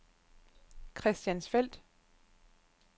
Christiansfeld